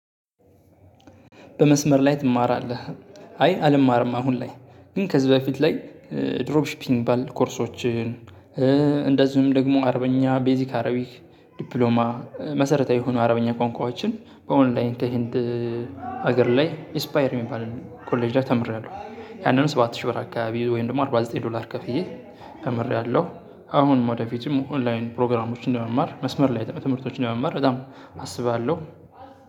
በመስመር ላይ ትማራለህ? አይ አልማርም። አሁን ላይ ግን ከዚህ በፊት ላይ ድሮፕ ሺፒንግ የሚባል ኮርሶችን። እንደዚሁም ደግሞ አረብኛ ቤዚክ አረቢክ ዲፕሎማ መሰረታዊ የሆኑ አረብኛ ቋንቋዎችን በኦንላይን ከህንድ ሀገር ላይ ኢስፓየር የሚባል ኮሌጅ ተምሬያለሁ። ያንን ሰባት ሺህ ብር አካባቢ ወይም ደግሞ አርባ ዘጠኝ ዶላር ከፍዬ ተምሬያለሁ። አሁን ወደፊትም ኦንላይን ፕሮግራሞችን ለመማር መስመር ላይ ትምህርቶችን ለመማር በጣም አስባለሁ።